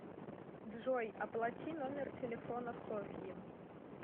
джой оплати номер телефона софьи